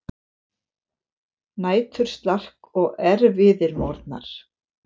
Næturslark og erfiðir morgnar.